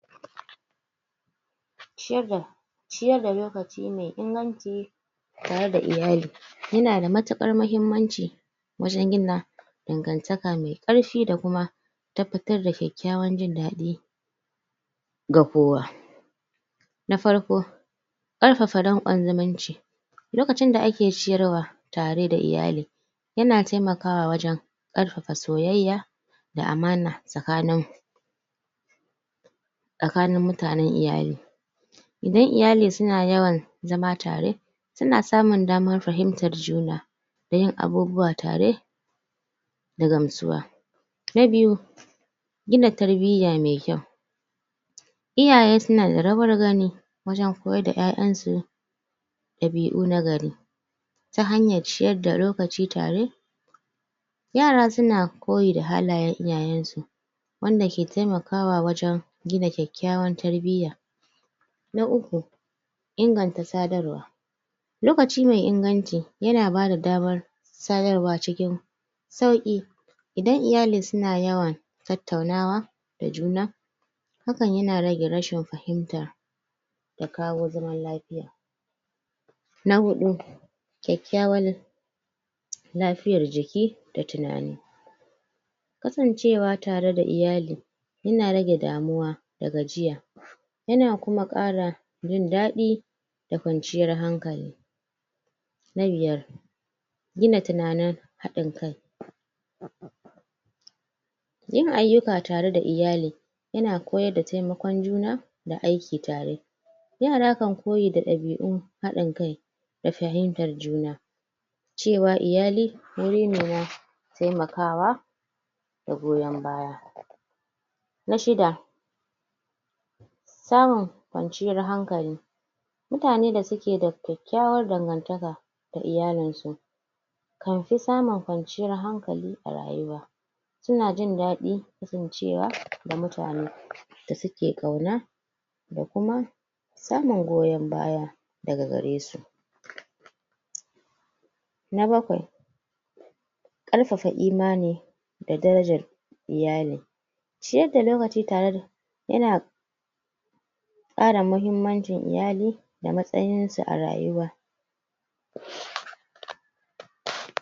ciyar da lokaci mai inganci tare da iyali yana da matuƙar mahimmanci wajen gina dangantaka mai ƙara da kuma tabbatar da kyakkyawan jin daɗi ga kowa na farko ƙarfafa danƙon zumunci lokacin da ake ciyarwa tare da iyali yana taimaka wajen ƙarfafa soyayya da amana tsakanin tsakanin mutanen iyali idan iyali suna yawan zama tare Suna samun damar fahimtan juna da yin abubuwa tare da gamsuwa Na biyu gina tarbiyya mai kyau iyaye suna da rawar gani wajen koyar da ƴaƴansu ɗabi'u na gari ta hanyar ciyar da lokaci tare yara suna koyi da halayen iyayensu wanda ke taimakawa wajen gina kyakkyawan tarbiyya na uku inganta sadarwa lokaci mai inganci yana bada damar sadarwa cikin sauƙi idan iyali suna yawan tattaunawa da juna hakan yana rage rashin fahimta da kawo zaman lafiya na huɗu kyakkyawan lafiyar jiki da tunani kasancewa tare da iyali yana rage damuwa a gajiya yana kuma ƙara jin daɗi da kwanciyar hankali na biyar gina tunanin haɗin kai yin ayyuka tare da iyali yana koyar da taimakon juna da aiki tare yara kan koyi da ɗabi'un haɗin kai da fahimtar juna cewa iyali wuri ne na taimakawa na shida samun kwanciyar hanlkali mutane da suke da kyakkyawar dangantaka da iyalinsu kan fi samun kwanciyar hankali a rayuwa suna jin daɗi kasancewa da mutane da suke ƙauna da kuma samun goyon baya daga gare su na bakwai ƙarfafa imani da darajar iyali ciyar da lokaci tare da yana ƙara mahimmancin iyali da matsayin su a rayuwa